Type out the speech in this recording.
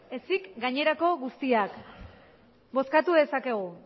ezik gainerako guztiak bozkatu dezakegu